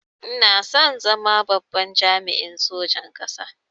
Ina son zama babban jami'in sojan ƙasa